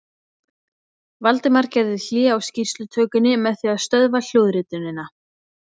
Valdimar gerði hlé á skýrslutökunni með því að stöðva hljóðritunina.